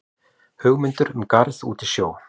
Hugmyndir um garð út í sjó